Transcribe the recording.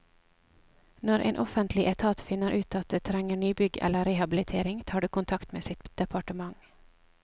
Når en offentlig etat finner ut at det trenger nybygg eller rehabilitering, tar det kontakt med sitt departement.